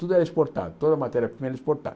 Tudo era exportado, toda matéria primeira era exportada.